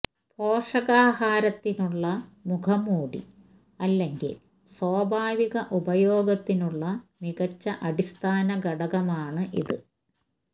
പോഷകാഹാരത്തിനുള്ള മുഖംമൂടി അല്ലെങ്കിൽ സ്വാഭാവിക ഉപയോഗത്തിനുള്ള മികച്ച അടിസ്ഥാന ഘടകമാണ് ഇത്